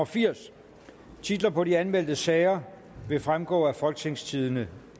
firs titler på de anmeldte sager vil fremgå af folketingstidende